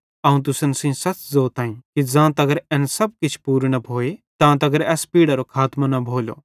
अवं तुसन सेइं सच़ ज़ोताईं कि ज़ां तगर एन सब किछ पूरू न भोए तां तगर एस पीढ़रो खातमों न भोलो